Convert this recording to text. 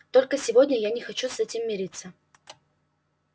только сегодня я не хочу с этим мириться